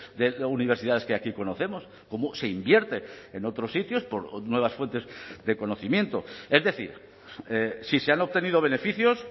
de universidades que aquí conocemos cómo se invierte en otros sitios por nuevas fuentes de conocimiento es decir si se han obtenido beneficios